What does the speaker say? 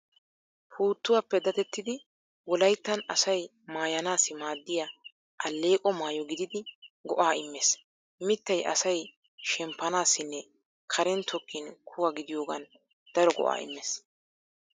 Puuttuwaappe dadettidi wolayttan asay maayanaassi maaddiya alleeqo maayo gididi go'aa immees. Mittay asay shemppanassinne Karen tokkin kuwa gidiyogan daro go'aa immees.